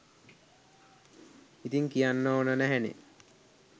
ඉතින් කියන්න ඕන නැහැනෙ.